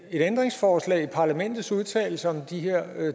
et ændringsforslag i parlamentets udtalelse om de